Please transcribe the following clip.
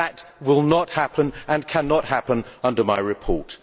That will not happen and cannot happen under my report.